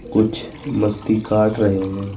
कुछ मस्ती काट रहे हैं।